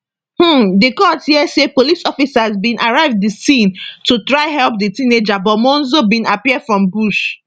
um di court hear say police officers bin arrive di scene to try help di teenager but monzo bin appear from bush